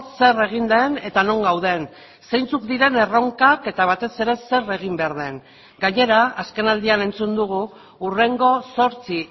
zer egin den eta non gauden zeintzuk diren erronkak eta batez ere zer egin behar den gainera azkenaldian entzun dugu hurrengo zortzi